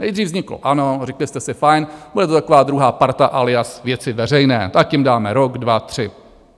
Nejdřív vzniklo ANO, řekli jste si fajn, bude to taková druhá parta alias Věci veřejné, tak těm dáme rok, dva, tři.